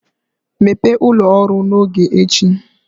Mepee ụlọ ọrụ n'oge echi